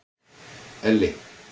Elli